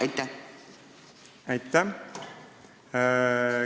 Aitäh!